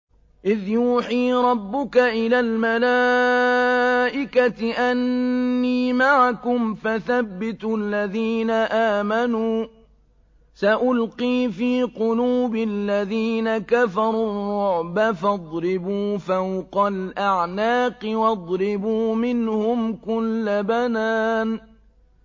إِذْ يُوحِي رَبُّكَ إِلَى الْمَلَائِكَةِ أَنِّي مَعَكُمْ فَثَبِّتُوا الَّذِينَ آمَنُوا ۚ سَأُلْقِي فِي قُلُوبِ الَّذِينَ كَفَرُوا الرُّعْبَ فَاضْرِبُوا فَوْقَ الْأَعْنَاقِ وَاضْرِبُوا مِنْهُمْ كُلَّ بَنَانٍ